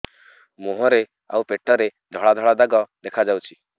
ମୁହଁରେ ଆଉ ପେଟରେ ଧଳା ଧଳା ଦାଗ ଦେଖାଯାଉଛି